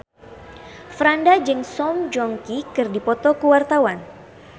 Franda jeung Song Joong Ki keur dipoto ku wartawan